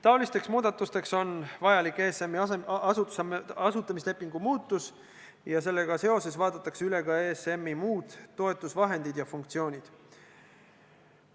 Niisugusteks muudatusteks on vajalik ESM-i asutamislepingu muutus ja sellega seoses vaadatakse üle ka ESM-i muud toetusvahendid ja funktsioonid.